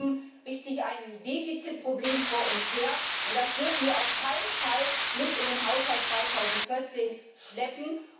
Wir schieben also ein Defizitproblem vor uns her, und das dürfen wir auf keinen Fall mit in den Haushalt 2014 schleppen!